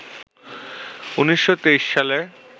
১৯২৩ সালে